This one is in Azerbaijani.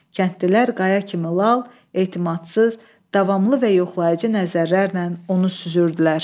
Kəndlilər qaya kimi lal, etimadsız, davamlı və yoxlayıcı nəzərlərlə onu süzürdülər.